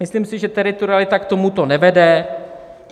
Myslím si, že teritorialita k tomuto nevede.